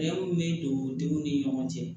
bɛ don denw ni ɲɔgɔn cɛ